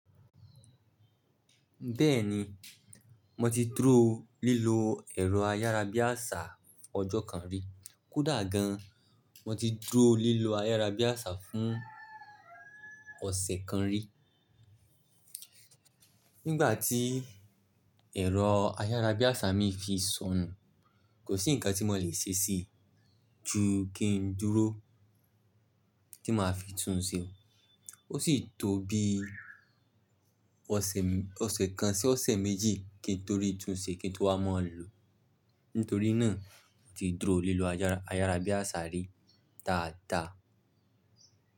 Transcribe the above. Bẹ́ẹ̀ni, mo ti dúró lílo ẹ̀rọ ayárabíàṣá ọjọ́ kan rí. Kódà gan, mo ti dúró lílo ayárabíàṣá fún ọ̀sẹ̀ kan rí. Nígbà tí ẹ̀rọ ayárabíàṣá mi fi sọnù, kò sí ǹkan tí mo le ṣe sí ju kí n dúró tí maa fi tún un ṣe. Ó sì tó bí ọ̀sẹ̀ kan sí ọ̀sẹ̀ méjì kí n tó ri tún ṣe kí n tó wá maa lo Nítorí náà, mo ti dúró lílo ayárabíàṣá rí daa dáa.